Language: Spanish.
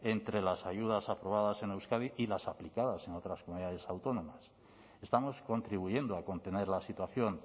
entre las ayudas aprobadas en euskadi y las aplicadas en otras comunidades autónomas estamos contribuyendo a contener la situación